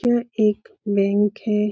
यह एक बैंक है।